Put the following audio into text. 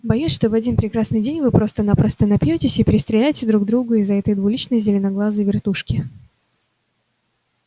боюсь что в один прекрасный день вы просто-напросто напьётесь и перестреляете друг друга из-за этой двуличной зеленоглазой вертушки